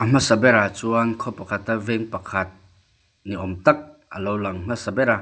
hmasa berah chuan khaw pakhata veng pakhat ni awm tak a lo lang hmasa bera--